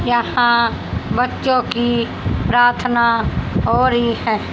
यहां बच्चों की प्रार्थना हो रही है।